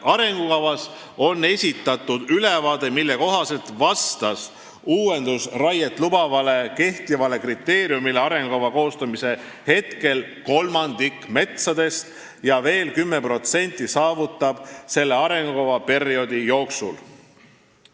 Arengukavas on esitatud ülevaade, mille kohaselt vastas uuendusraiet lubavale kehtivale kriteeriumile arengukava koostamise hetkel kolmandik metsadest ja veel 10% saavutab selle taseme arengukavaperioodi jooksul.